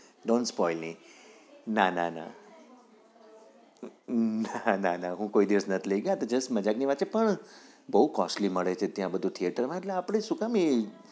non spoil ના ના ના ના ના ના હું કોઈ દિવસ નઈ લઇ ગયો જસ્ટ મજાક ની વાત છે પણ બહું costly બધું theater માં એટલે આપડે સુ કામ એ